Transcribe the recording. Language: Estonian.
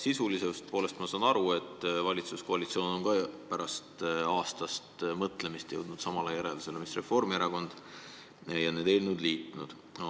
Sisulisest küljest ma saan aru, et valitsuskoalitsioon on pärast aastast mõtlemist jõudnud samale seisukohale, mis Reformierakond, ja on need eelnõud liitnud.